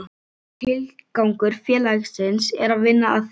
Tilgangur félagsins er að vinna að því